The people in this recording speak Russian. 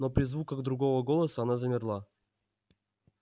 но при звуках другого голоса она замерла